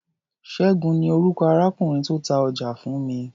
Ṣẹ́gun ni orúkọ arákùnrin tó ta ọjà fún mi.